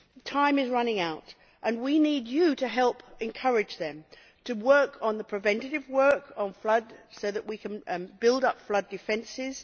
Time is running out and we need you, Commissioner, to help encourage them to work on the preventative work on floods, so that we can build up flood defences.